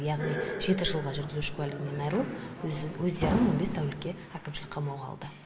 яғни жеті жылға жүргізуші куәлігінен айырылып өздерін он бес тәулікке әкімшілік қамауға алды